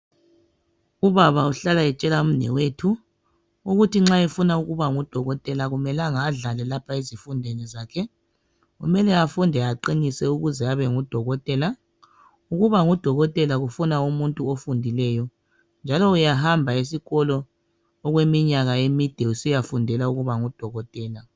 Ubaba uhlala etshela umnewethu ukuthi nxa efuna ukuba ngudokotela akumelanga adlale lapha ezifundweni zakhe . Kumele afunde aqinise ukuze abengudokotela .Ukuba ngudokotela kufuna umuntu ofundileyo njalo uyahamba esikolo okwe minyaka emide usiya fundela ukuba ngudokotela .